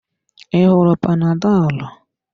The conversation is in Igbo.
I ṅụrụ panadolu.